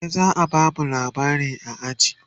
gobe zaa bamu labarai a aji